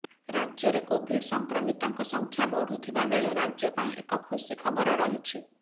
ରାଜ୍ୟରେ କୋଭିଡ୍ ସଂକ୍ରମିତଙ୍କ ସଂଖ୍ୟା ବଢୁଥିବା ବେଳେ ରାଜ୍ୟ ପାଇଁ ଏକ ଖୁସି ଖବର ରହିଛି